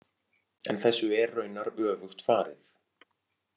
En þessu er raunar öfugt farið.